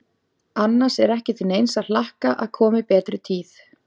Annars er ekki til neins að hlakka að komi betri tíð.